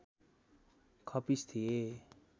खप्पिस थिए